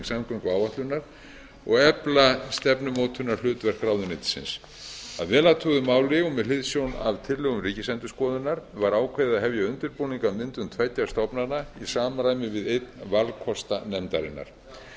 samgönguáætlunar og efla stefnumótunarhlutverk ráðuneytisins að vel athuguðu máli og með hliðsjón af tillögum ríkisendurskoðunar var ákveði að hefja undirbúning að myndun tveggja stofnana í samræmi við einn valkosta nefndarinnar skipaður